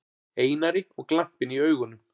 Einari og glampinn í augunum.